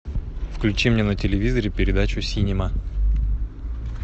включи мне на телевизоре передачу синема